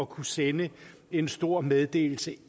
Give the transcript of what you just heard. kunne sende en stor meddelelse